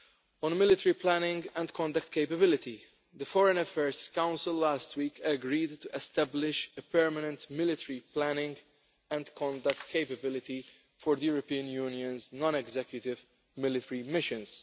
On military planning and conduct capability, the Foreign Affairs Council last week agreed to establish a permanent military planning and conduct capability for the European Union's non executive military missions.